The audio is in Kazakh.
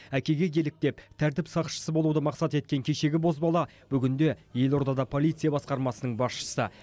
әкеге еліктеп тәртіп сақшысы болуды мақсат еткен кешегі бозбала бүгінде елордада полиция басқармасының басшысы болды